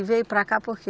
E veio para cá por quê?